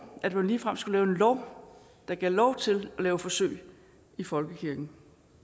at man ligefrem skulle lave en lov der gav lov til at lave forsøg i folkekirken